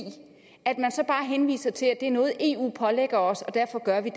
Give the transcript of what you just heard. bare henviser til at det er noget eu pålægger os og derfor gør vi